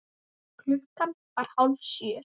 Klukkan var hálf sjö.